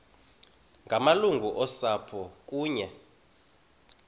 ngamalungu osapho kunye